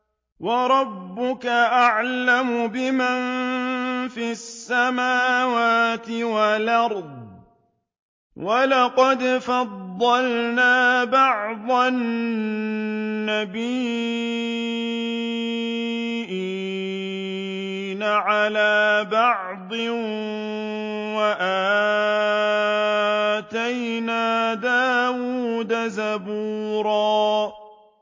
وَرَبُّكَ أَعْلَمُ بِمَن فِي السَّمَاوَاتِ وَالْأَرْضِ ۗ وَلَقَدْ فَضَّلْنَا بَعْضَ النَّبِيِّينَ عَلَىٰ بَعْضٍ ۖ وَآتَيْنَا دَاوُودَ زَبُورًا